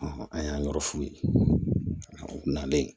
an y'an yɔrɔ f'u ye na bɛ yen